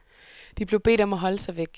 De blev bedt om at holde sig væk.